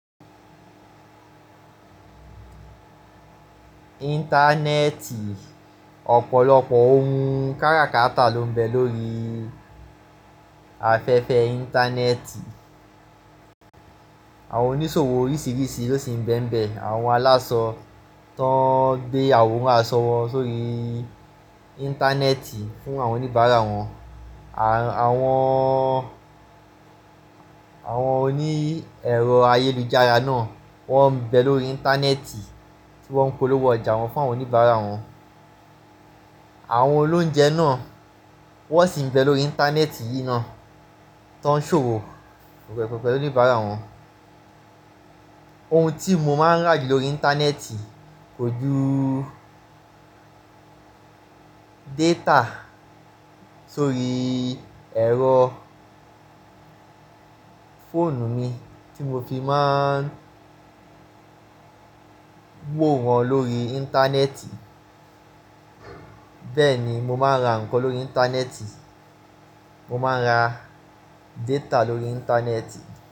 Íńtánẹ́ẹ̀tì, ọ̀pọ̀lọpọ̀ oun káràkátà ló ń bẹ lórí afẹ́fẹ́ Íńtánẹ́ẹ̀tì. Àwọn onísòwò oríṣiríṣi ló sì ń bẹ n bẹ àwọn aláṣọ tó ń gbé àwòrán aṣọ wọ sórí Íńtánẹ́ẹ̀tì fún àwọn oníbàárà wọn. Àwọn, àwọn oní ẹ̀rọ ayélujára náà wọ́n ń bẹ lórí Íńtánẹ́ẹ̀tì tí wọ́n ń polówó ọjà wọn fún àwọn oníbàárà wọn. Àwọn olóunjẹ náà wọ́n sì ń bẹ lórí Íńtánẹ́ẹ̀tì yìí náà tọ ń ṣòwò pẹ̀pẹ̀pẹ̀ pẹ̀lú oníbàárà wọn. Oun tí mo máa ń rà jù lórí Íńtánẹ́ẹ̀tì kò ju data sórí ẹ̀rọ fóònù mi tí mo fi máa ń wo wọn lórí Íńtánẹ́ẹ̀tì. Bẹ́ẹ̀ ni mo máa ń ra nǹkan lórí Íńtánẹ́ẹ̀tì, mo máa ń ra data lórí Íńtánẹ́ẹ̀tì.